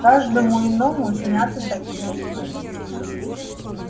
каждому иному снятся такие сны